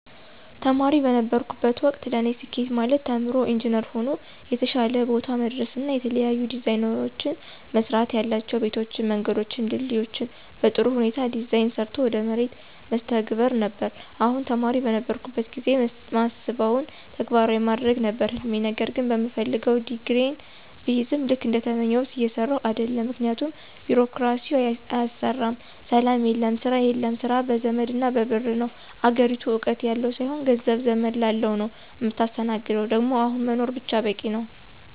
ተማሪ በነበርሁበት ወቅት ለኔ ስኬት ማለት ተምሮ ኢንጅነር ሆኖ የተሻለ ቦታ መድረስና የተለያዩ ዲዛይኖችን መስራትያላቸው ቤቶችን፣ መንገዶችን፣ ድልድዮችን በጥሩ ሁኔታ ዲዛይን ሰርቶ ወደ መሬት መተግበር ነበር፣ አሁንም ተማሪ በነበርሁበት ጊዜ ማስበውን ተግባራዊ ማድረግ ነበር ህልሜ ነገር ግን በምፈልገው ዲግሪየን ብይዝም ልክ እንደተመኘሁት እየሰራሁ አደለም ምክንያቱም ቢሮክራሲው አያሰራም፣ ሰላም የለም፣ ስራ የለም፣ ስራ በዘመድና በብር ነው፣ አገሪቱ እውቀት ያለው ሳይሆን ገንዘብ፣ ዘመድ ላለው ነው ምታስተናግደው ደግሞ አሁን መኖር ብቻ በቂ ነው።